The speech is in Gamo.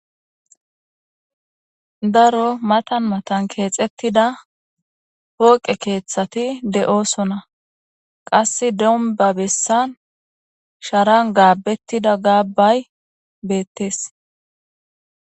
Daro matan matan keexettida pooqe keeththati de"osona qassi domba bessan sharan gaabettida gaabbay beettees.